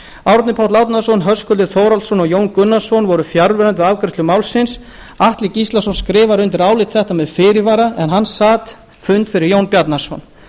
árni páll árnason höskuldur þórhallsson og jón gunnarsson voru fjarverandi við afgreiðslu málsins atli gíslason skrifar undir álit þetta með fyrirvara en hann sat fund fyrir jón bjarnason